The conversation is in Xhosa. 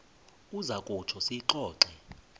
uza kutsho siyixoxe